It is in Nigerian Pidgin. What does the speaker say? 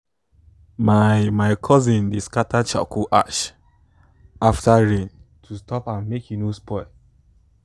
my my cousin dey scatter charcoal ash after rain to stop am make e no spoil